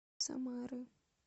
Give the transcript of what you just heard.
самары